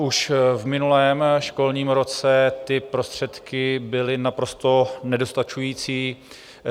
Už v minulém školním roce ty prostředky byly naprosto nedostačující.